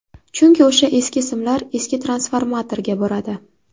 Chunki o‘sha eski simlar eski transformatorga boradi.